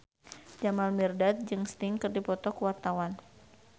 Jamal Mirdad jeung Sting keur dipoto ku wartawan